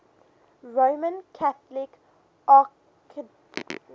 roman catholic archdiocese